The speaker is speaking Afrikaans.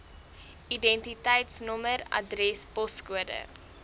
identiteitsnommer adres poskode